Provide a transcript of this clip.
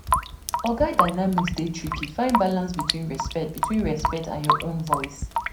Oga dynamics dey tricky; find balance between respect between respect and your own voice.